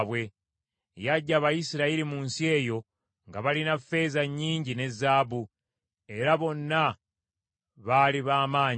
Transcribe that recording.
Yaggya Abayisirayiri mu nsi eyo nga balina ffeeza nnyingi ne zaabu; era bonna baali ba maanyi.